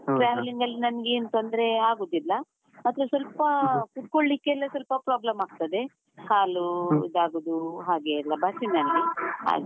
travelling ಅಲ್ಲಿ ನಂಗೇನು ತೊಂದ್ರೆ ಆಗುದಿಲ್ಲ, ಮಾತ್ರ ಸ್ವಲ್ಪಾ ಕುತ್ಕೊಳ್ಲಿಕ್ಕೆಲ್ಲಾ ಸ್ವಲ್ಪ problem ಆಗ್ತದೆ, ಕಾಲು ಇದಾಗುದು ಹಾಗೆ ಎಲ್ಲ ಬಸ್ಸಿನಲ್ಲಿ ಹಾಗೆ.